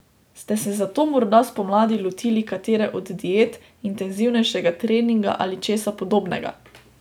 Ste se zato morda spomladi lotili katere od diet, intenzivnejšega treninga ali česa podobnega?